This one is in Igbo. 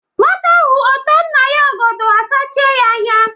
Nwata hụ ótoò nna ya ọgọdọọ asachịe ya anya.